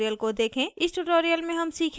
form editor उपयोग करना